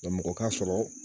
mɔgɔ ka sɔrɔ